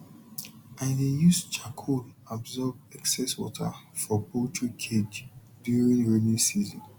i dey use charcoal absorb excess water for poultry cage during rainy season